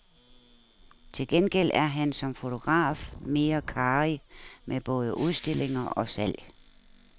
Til gengæld er han som fotograf mere karrig med både udstillinger og salg.